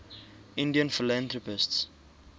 indian philanthropists